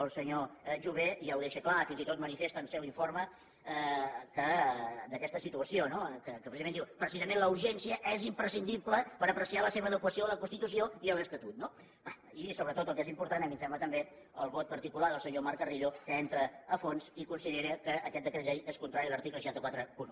el senyor jover ja ho deixa clar fins i tot manifesta al seu informe aquesta situació que precisament diu precisament la urgència és imprescindible per apreciar la seva adequació a la constitució i a l’estatut no i sobretot el que és important a mi em sembla també és el vot particular del senyor marc carrillo que hi entra a fons i considera que aquest decret llei és contrari a l’article sis cents i quaranta un